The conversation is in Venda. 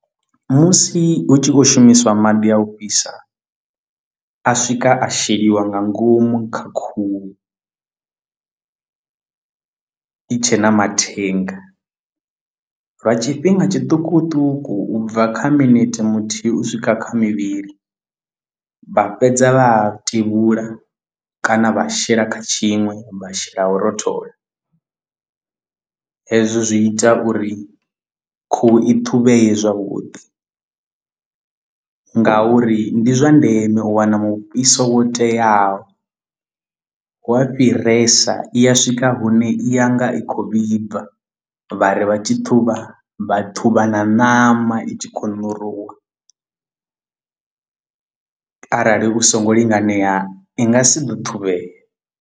Musi hu tshi khou shumiswa maḓi a u fhisa a swika a sheliwa nga ngomu kha khuhu i tshe na mathenga lwa tshifhinga tshiṱukuṱuku ubva kha minete muthihi u swika kha mivhili vha fhedza vha a tevhula kana vha shela kha tshiṅwe vha shela u rothola hezwo zwi ita uri khuhu i ṱhuvhee zwavhuḓi ngauri ndi zwa ndeme u wana mufhiso wo teaho wa fhiresa i ya swika swika hune i ya nga i khou vhibva vhari vha tshi thuvha vha thuvha na ṋama i tshi khou na ṋuruwa arali u so ngo linganela i nga si ḓo ṱhuvhea.